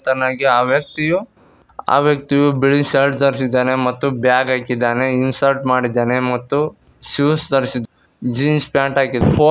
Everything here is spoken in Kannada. ತನಗೆ ಆ ವ್ಯಕ್ತಿಯು ಆ ವ್ಯಕ್ತಿಯು ಬಿಳಿ ಶರ್ಟ್ ದರಸಿದ್ದಾನೆ ಮತ್ತು ಬ್ಯಾಗ್ ಹಾಕಿದಾನೆ ಇನಸಟ೯ ಮಾಡಿದ್ದಾನೆ ಮತ್ತು ಶೂಸ್ ದರಸಿದ್ ಜೀನ್ಸ್ ಪ್ಯಾಂಟ್ ಹಾಕಿ ಪೋ --